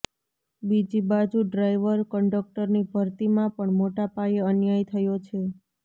બીજીબાજુ driver કંડકટરની ભરતીમાં પણ મોટાપાયે અન્યાય થયો છે